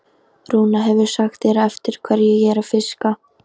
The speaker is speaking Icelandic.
Rúna hefur sagt þér eftir hverju ég er að fiska?